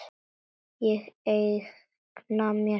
Ég eigna mér þig.